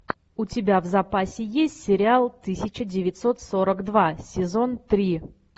у тебя в запасе есть сериал тысяча девятьсот сорок два сезон три